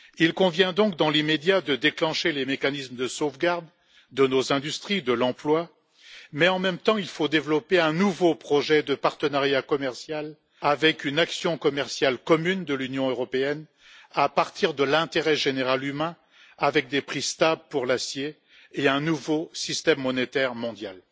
Il convient donc, dans l'immédiat, de déclencher les mécanismes de sauvegarde de nos industries, de l'emploi, mais en même temps, il faut développer un nouveau projet de partenariat commercial avec une action commerciale commune de l'Union européenne, à partir de l'intérêt général humain, avec des prix stables pour l'acier et un nouveau système monétaire mondial.